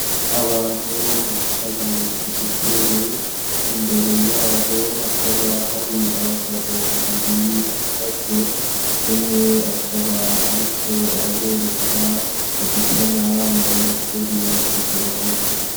Abantu bicaye k'udutebe, imbere yabo hakaba hari abagabo babiri bahagaze, umwe akaba ariko arabereka udusanamu turi ku gihome.